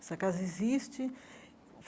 Essa casa existe.